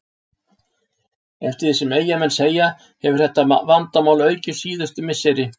Eftir því sem Eyjamenn segja hefur þetta vandamál aukist síðustu misseri.